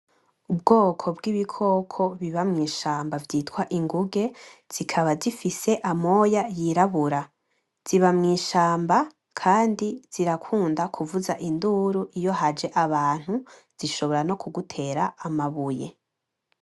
Ubwoko bw'ibikoko biba mw'ishamba vyitwa inguge zikaba zifise amoya yirabura, ziba mw'ishamba kandi zirakunda kuvuza induru iyo haje abantu zishobora no kugutera amabuye.